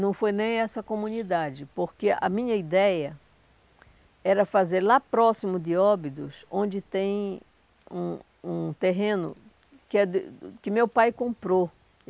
Não foi nem essa comunidade, porque a minha ideia era fazer lá próximo de Óbidos, onde tem um um terreno que é do que meu pai comprou.